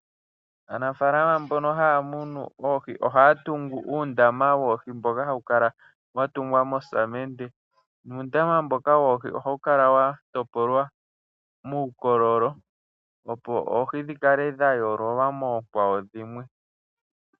Aanafalama mbono haya munu oohi ohaya tungu uundama woohi mboka hawu kala wa tungwa mosamende. Nuundama mboka woohi ohawu kala wa topolwa muukololo opo oohi dhi kale dha yoololwa moonkwawo dhimwe.